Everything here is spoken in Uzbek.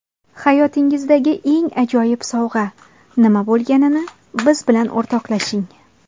Hayotingizdagi eng ajoyib sovg‘a nima bo‘lganini biz bilan o‘rtoqlashing.